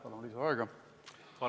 Palun lisaaega!